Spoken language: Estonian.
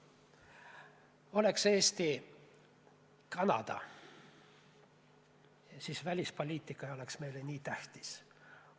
Oleks Eesti Kanada, siis välispoliitika ei oleks meile nii tähtis.